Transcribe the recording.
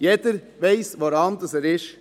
Jeder weiss, woran er ist.